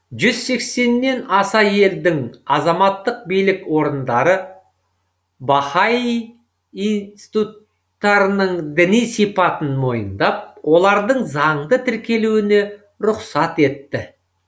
жүз сексеннен аса елдің азаматтық билік орындары баһаи инсти тут тарының діни сипатын мойындап олардың заңды тіркелуіне рұқсат етті